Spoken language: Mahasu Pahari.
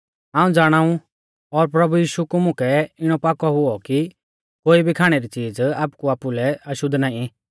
हाऊं ज़ाणाऊ और प्रभु यीशु कु मुकै इणौ पाकौ हुऔ कि कोई भी खाणै री च़ीज़ आपकु आपुलै अशुद्ध नाईं पर ज़ो तिंया च़ीज़ अशुद्ध सौमझ़ा आ तेसलै अशुद्ध आ